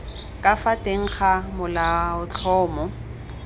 ka fa teng ga molaotlhomo